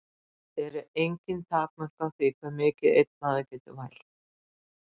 Eru engin takmörk á því hve mikið einn maður getur vælt?